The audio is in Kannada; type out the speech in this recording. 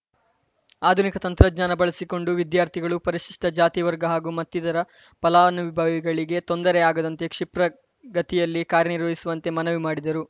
ಆಧುನಿಕ ತಂತ್ರಜ್ಞಾನ ಬಳಸಿಕೊಂಡು ವಿದ್ಯಾರ್ಥಿಗಳು ಪರಿಶಿಷ್ಟಜಾತಿವರ್ಗ ಹಾಗೂ ಮತ್ತಿತರ ಫಲಾನುಭವಿಗಳಿಗೆ ತೊಂದರೆ ಆಗದಂತೆ ಕ್ಷಿಪ್ರಗತಿಯಲ್ಲಿ ಕಾರ್ಯನಿರ್ವಹಿಸುವಂತೆ ಮನವಿ ಮಾಡಿದರು